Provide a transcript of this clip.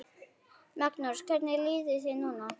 Magnús: Hvernig líður þér núna?